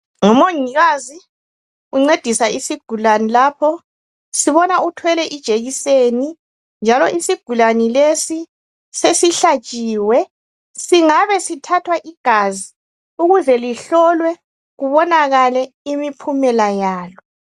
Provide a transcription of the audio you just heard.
Ngumongikazi uncedisa isigulane lapho. Sibona uthwele ijekiseni. Njalo isigulane lesi sesihlatshiwe. Singabe sithathwa igazi ukuze lihlolwe, kubonakale imiphumela yalo.